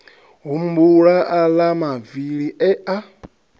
humbula aḽa mavili e a